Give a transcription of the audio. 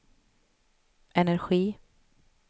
energi